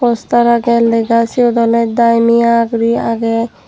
poster agey lega siot ole daimia guri agey.